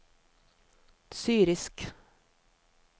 syrisk